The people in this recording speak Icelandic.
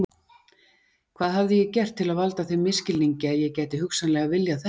Hvað hafði ég gert til að valda þeim misskilningi að ég gæti hugsanlega viljað þetta?